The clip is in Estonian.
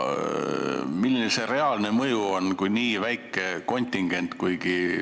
Aga milline see reaalne mõju on nii väikese kontingendi puhul?